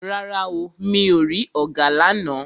Rárá o, mi ò rí ọ̀gà lána.